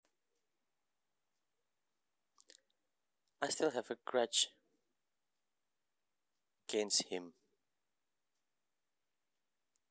I still have a grudge against him